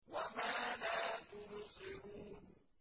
وَمَا لَا تُبْصِرُونَ